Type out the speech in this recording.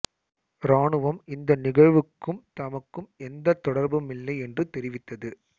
இராணுவம் இந்த நிகழ்வுக்கும் தமக்கும் எந்த தொடர்புமில்லை என்று தெரிவித்தது